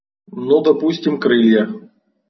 ну допустим крылья